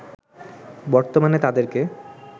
বর্তমানে তাদেরকে